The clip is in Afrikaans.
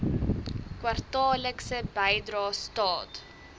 kwartaallikse bydrae staat